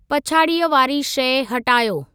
पछाड़ीअ वारी शइ हटायो!